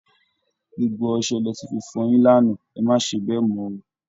Gbogbo ọsẹ lẹ ti fi fọyin lánàá, ẹ má ṣe bẹ́ẹ̀ mọ́ o!